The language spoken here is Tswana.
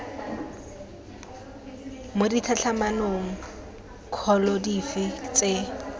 mo ditlhatlhamanong kgolo dife tse